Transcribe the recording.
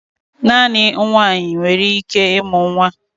Naanị nwaanyị nwere ike ịmụ nwa